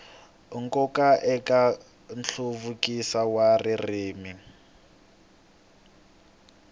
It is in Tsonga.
nkoka eka nhluvukiso wa ririmi